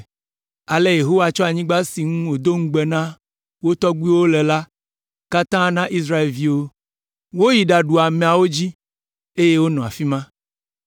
Ale Yehowa tsɔ anyigba si ŋugbe wòdo na wo tɔgbuiwo la katã na Israelviwo. Woyi ɖaɖu ameawo dzi, eye wonɔ afi ma.